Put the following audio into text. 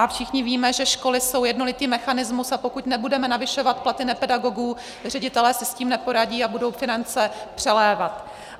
A všichni víme, že školy jsou jednolitý mechanismus, a pokud nebudeme navyšovat platy nepedagogů, ředitelé si s tím neporadí a budou finance přelévat.